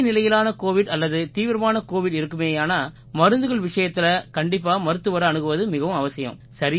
இடைநிலையிலான covid அல்லது தீவிரமான covid இருக்குமேயானா மருந்துகள் விஷயத்தில கண்டிப்பா மருத்துவரை அணுகுவது மிகவும் அவசியம்